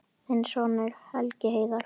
Þinn sonur, Helgi Heiðar.